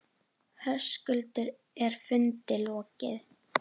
Höskuldur, er fundi lokið?